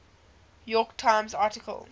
york times article